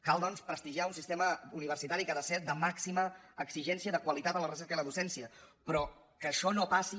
cal doncs prestigiar un sistema universitari que ha de ser de màxima exigència de qualitat en la recerca i en la docència però que això no passi